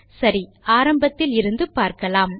சரி ஆரம்பத்தில் இருந்து பார்க்கலாம்